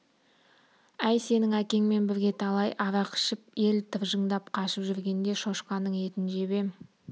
әй сенің әкеңмен бірге талай арақ ішіп ел тыржыңдап қашып жүргенде шошқаның етін жеп ем -